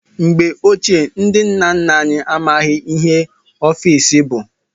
Mgbe ochie, ndị nna nna anyị amaghị ihe ọfiisi bụ.